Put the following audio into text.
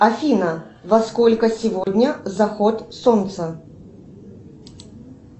афина во сколько сегодня заход солнца